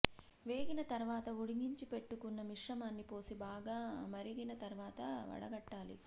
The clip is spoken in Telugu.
వేగిన తర్వాత ఉడికించి పెట్టుకున్న మిశ్రమాన్ని పోసి బాగా మరిగిన తర్వాత వడకట్టాలి